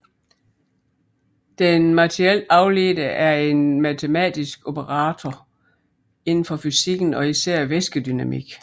Den materielt afledte er en matematisk operator inden for fysikken og især væskedynamik